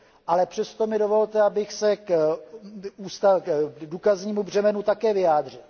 Ale přesto mi dovolte, abych se k důkaznímu břemenu také vyjádřil.